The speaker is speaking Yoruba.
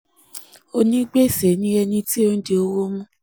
onígbèsè ni ẹni tí ó ń di ó ń di owó mú